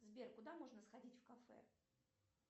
сбер куда можно сходить в кафе